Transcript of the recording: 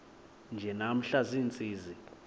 nje namhla ziintsizi